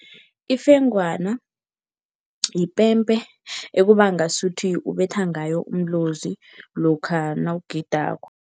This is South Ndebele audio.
Ifengwana yipembe ekuba ngasuthi ubetha ngayo umlozi lokha nawugidako.